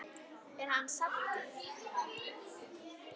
Er hann saddur?